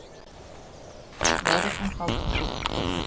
Lögregla handtók tvo þeirra.